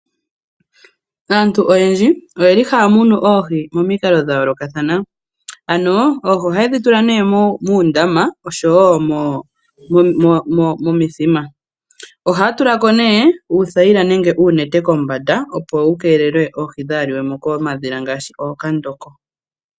Aantu oyendji oye li haya munu oohi momikalo dha yoolokathana. Ano oohi ohaye dhi tula nee muundama oshowo momithima. Ohaya tula ko nee uuthayila nenge uunete kombanda opo wu keelele oohi dhaa liwe mo komadhila ngaashi ookandoko.